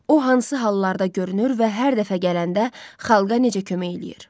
O hansı hallarda görünür və hər dəfə gələndə xalqa necə kömək eləyir?